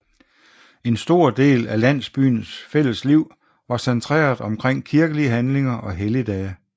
En stor del af landsbyens fælles liv var centreret omkring kirkelige handlinger og helligdage